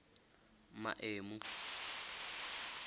maemu